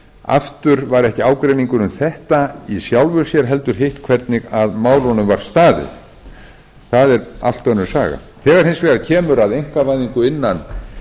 aftur var ekki ágreiningur um þetta í sjálfu sér heldur hitt hvernig að málunum var staðið það er allt önnur saga þegar hins vegar kemur að einkavæðingu innan